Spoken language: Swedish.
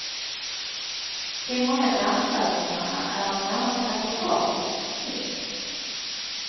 De många dansövningarna är av närmast akrobatiskt snitt.